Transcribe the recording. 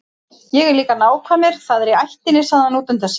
Ég er líka nákvæmur, það er í ættinni, sagði hann útundann sér.